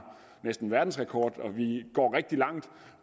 verdensrekord at vi går rigtig langt